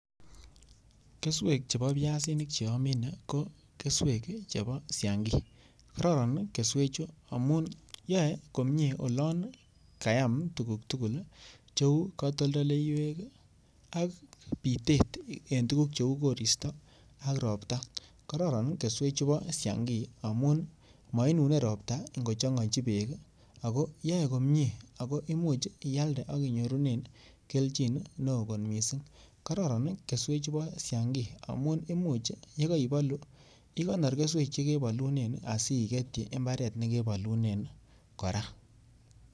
Keswek chebo biasinik che omine ko keswek chebo sinagi. Kororon keswechu amun yoe komye olon kayam tuguk tugul cheu katoltoleiywek ak bitet en tuguk cheu koristo ak ropta. Kororon keswechu bo siangi amun moinune ropta ngochong'oechi beek ago yoe komye, ago imuch ialde ak inyorunen kelchin neo kot mising. Kororon keswechu bo siangi amun imuch ye koibolu igonor kesweg che kebolunen asi igetyi mbarte ne kebolunen kora.